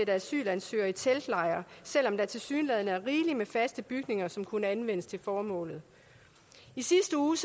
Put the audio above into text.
asylansøgere i teltlejre selv om der tilsyneladende er rigeligt med faste bygninger som kunne anvendes til formålet i sidste uge